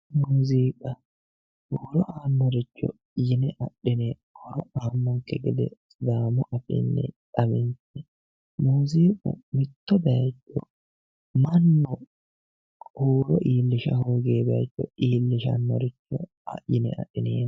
Muziiqa hiro aannoricho yine adhineemmo yaate muziiqu mitto bayiicho mannu huuro iillisha hoogiwo bayiicho iillishannoricho assine adhineemmo